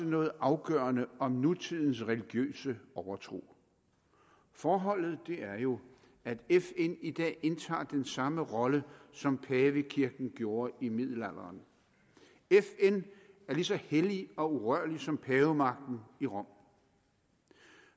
noget afgørende om nutidens religiøse overtro forholdet er jo at fn i dag indtager den samme rolle som pavekirken gjorde i middelalderen fn er lige så hellig og urørlig som pavemagten i rom